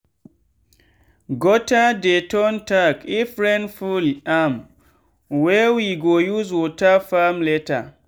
gutter dey turn tank if rain full amwey we go use water farm later.